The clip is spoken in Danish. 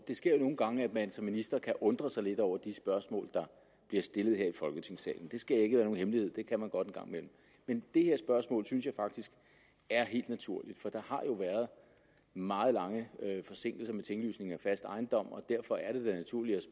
sker jo nogle gange at man som minister kan undre sig lidt over de spørgsmål der bliver stillet her i folketingssalen det skal ikke være nogen hemmelighed det kan man godt en gang imellem men det her spørgsmål synes jeg faktisk er helt naturligt for der har jo været meget lange forsinkelser med tinglysningen af fast ejendom og derfor er det da naturligt